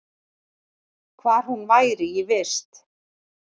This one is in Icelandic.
Hvar hún væri í vist.